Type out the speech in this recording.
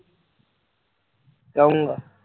ਕਹੁੰਗਾ